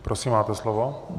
Prosím, máte slovo.